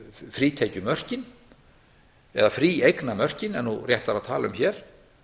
frítekjumörkin eða fríeignarmörkin er nú réttara að tala um hér